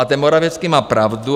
A ten Morawiecki má pravdu.